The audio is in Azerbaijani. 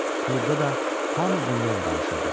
Klubda da hamı bundan danışırdı.